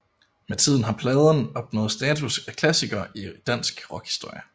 Med tiden har pladen opnået status af klassiker i dansk rockhistorie